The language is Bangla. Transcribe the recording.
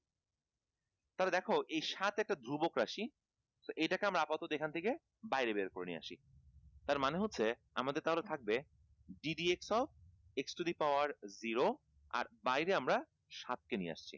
তাহলে দেখ এই সাত একটা ধ্রুবক রাশি তো এইটাকে আমরা আপাতত এখান থেকে বাইরে বের করে নিয়ে আসি তার মানে হচ্ছে আমাদের তাহলে থাকবে d dx of x to the power zero আর বাইরে আমরা সাতকে নিয়ে আসছি